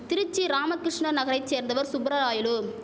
திருச்சி ராமகிஷ்ண நகரை சேர்ந்தவர் சுப்பரராயலு